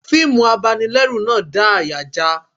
Fiimu abanilẹ́rù náà dá àyà já a